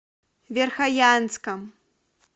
верхоянском